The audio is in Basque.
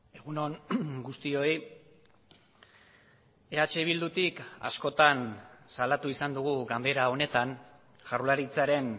egun on guztioi eh bildutik askotan salatu izan dugu ganbera honetan jaurlaritzaren